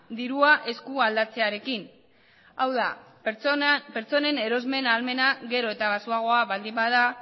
dirua esku aldatzearekin hau da pertsonen erosmen ahalmena gero eta baxuagoa baldin bada